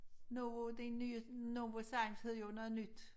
Novo det nye Novozymes hed jo noget nyt